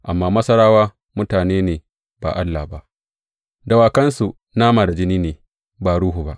Amma Masarawa mutane ne ba Allah ba; dawakansu nama da jini ne ba ruhu ba.